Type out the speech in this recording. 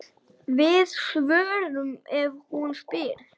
Við svörum ef hún spyr.